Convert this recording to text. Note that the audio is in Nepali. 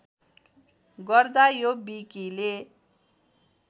गर्दा यो विकिले